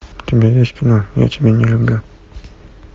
у тебя есть кино я тебя не люблю